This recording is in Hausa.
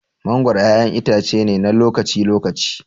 Mangoro ƴaƴan itace ne na lokaci-lokaci.